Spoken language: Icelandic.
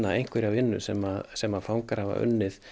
einhverja vinnu sem sem fangar hafa unnið